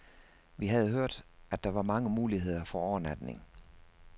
Vi havde hørt, at der var mange muligheder for overnatning.